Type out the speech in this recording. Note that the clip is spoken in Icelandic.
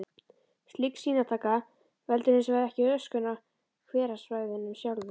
Slík sýnataka veldur hins vegar ekki röskun á hverasvæðunum sjálfum.